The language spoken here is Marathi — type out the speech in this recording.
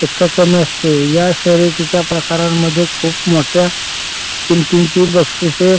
पेक्षा कमी असते. या शर्यतीच्या प्रकारांमध्ये खूप मोठ्या किंमतींची बक्षिसे